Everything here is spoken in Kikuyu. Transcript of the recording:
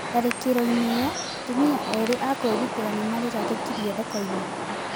Tharikiroĩnĩ ĩyo atũmia irĩ akũĩrûtĩra nimarĩrathokĩrie zokoĩnĩ.